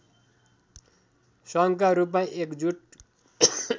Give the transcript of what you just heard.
सङ्घका रूपमा एकजुट